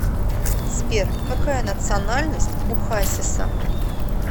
сбер какая национальность у хасиса